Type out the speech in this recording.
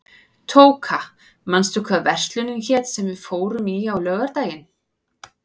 Tóka, manstu hvað verslunin hét sem við fórum í á laugardaginn?